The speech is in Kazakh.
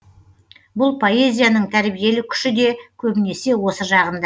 бұл поэзияның тәрбиелік күші де көбінесе осы жағын